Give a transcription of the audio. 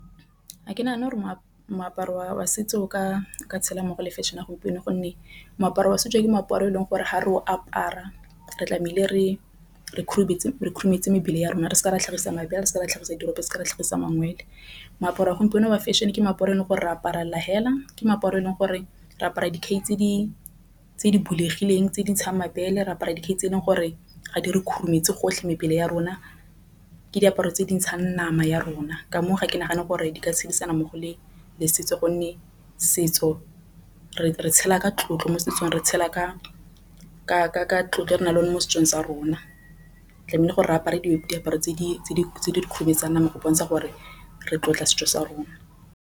Ga ke nagane gore moaparo wa setso o ka tshela mmogo le fashion ya gompieno. Gonne moaparo wa setso ke meaparo e leng gore ga re o apara re tlamehile re khurumetse re khurumetse mebele ya rona re se ke ra tlhagisang se ra tlhagisa tiro ka se ke ra tlhagisa . Moaparo wa gompieno wa fashion e ke meaparo e leng gore re apara la hela. Ke meaparo e leng gore re apara dikhai tse di bulegileng tse di ntshang mabele apara dikhai tse e leng gore ga di re khurumetse gotlhe mebele ya rona. Ke diaparo tse di ntshang nama ya rona ka moo ga ke nagane gore di ka tshedisana mo go le le setso gonne setso re re tshela ka tlotlo mo setsong. Re tshela ka tlotlo re na le mo setsong sa rona tlameile gore re apara dishweshwe, diaparo tse di kgweetsang nama go bontsha gore re tlotle setso sa rona.